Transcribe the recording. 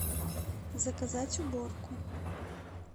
заказать уборку